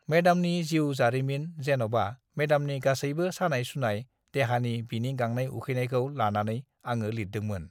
मेडामनि जिउ-जारिमिन जेन'बा मेडामनि गासैबो सानाय-सुनाय देहानि बिनि गांनाय-उखैनायखौ लानानै आङो लिरदोंमोन।